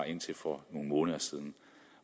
indtil for nogle måneder siden